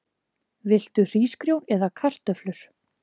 Viltu hrísgrjón eða kartöflur?